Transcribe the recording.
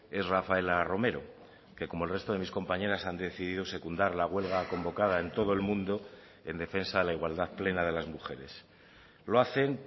es rafaela romero que como el resto de mis compañeras han decidido secundar la huelga convocada en todo el mundo en defensa de la igualdad plena de las mujeres lo hacen